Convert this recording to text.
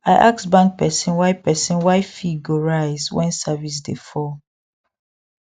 i ask bank person why person why fee go rise when service dey fall